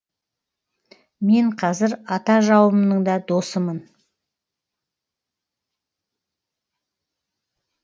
мен қазір ата жауымның да досымын